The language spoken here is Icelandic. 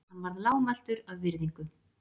Hann varð lágmæltur af virðingu.